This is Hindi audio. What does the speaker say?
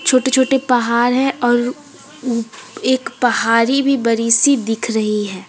छोटे छोटे पहाड़ है और अह एक पहारी भी बरी सी दिख रही है।